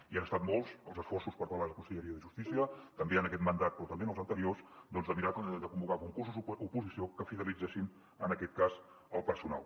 i han estat molts els esforços per part de la conselleria de justícia també en aquest mandat però també en els anteriors doncs de mirar de convocar concursos d’oposició que fidelitzessin en aquest cas el personal